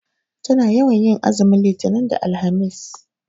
Tana yawan tin azumin litinin da alhamis